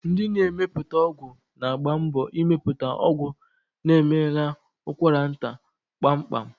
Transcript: Ndị na-emepụta ọgwụ na-agba mbọ ịmepụta ọgwụ na-emela ụkwaranta kpamkpam.